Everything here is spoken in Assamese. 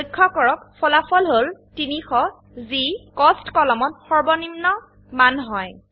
লক্ষ্য কৰক ফলাফল হল ৩০০ যি কোস্ট কলমত সৰ্বনিম্ন মান হয়